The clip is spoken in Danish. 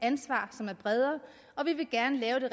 ansvar som er bredere og vi vil gerne lave det